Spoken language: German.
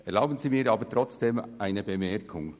Erlauben Sie mir aber trotzdem eine Bemerkung: